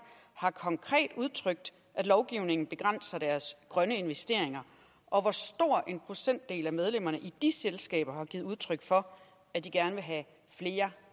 har konkret udtrykt at lovgivningen begrænser deres grønne investeringer og hvor stor en procentdel af medlemmerne i de selskaber har givet udtryk for at de gerne vil have flere